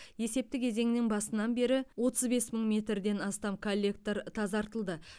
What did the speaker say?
есепті кезеңнің басынан бері отыз бес мың метрден астам коллектор тазартылды